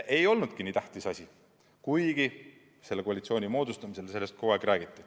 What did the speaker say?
Ei olnudki nii tähtis asi, kuigi praeguse koalitsiooni moodustamisel sellest kogu aeg räägiti.